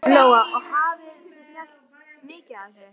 Lóa: Og hafið þið selt mikið af þessu?